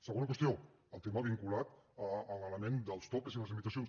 segona qüestió el tema vinculat a l’element dels topalls i les limitacions